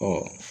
Ɔ